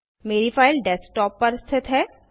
मेरी file desktop पर स्थित है